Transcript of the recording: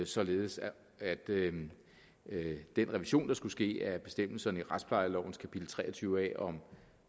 således at den revision der skulle ske af bestemmelserne i retsplejelovens kapitel tre og tyve a om